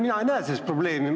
Mina ei näe selles probleemi.